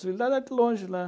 longe lá.